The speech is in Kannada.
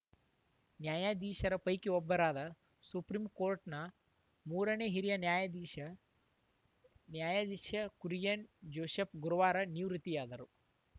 ನ್ಯಾಯಾಧೀಶರ ಪೈಕಿ ಒಬ್ಬರಾದ ಸುಪ್ರೀಂಕೋರ್ಟ್‌ನ ಮೂರನೇ ಹಿರಿಯ ನ್ಯಾಯಾಧೀಶ ನ್ಯಾಯಾಧೀಶ ಕುರಿಯನ್‌ ಜೋಸೆಫ್‌ ಗುರುವಾರ ನಿವೃತ್ತಿ ಆದರೂ